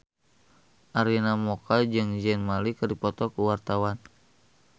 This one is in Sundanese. Arina Mocca jeung Zayn Malik keur dipoto ku wartawan